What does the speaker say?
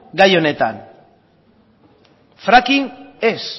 gai honetan fracking ez